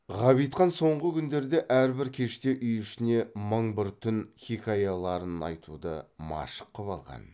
ғабитхан соңғы күндерде әрбір кеште үй ішіне мың бір түн хикаяларын айтуды машық қып алған